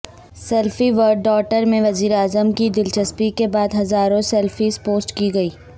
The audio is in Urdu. سیلفی ود ڈاٹر میں وزیر اعظم کی دلچسپی کے بعد ہزاروں سیلفیز پوسٹ کی گئی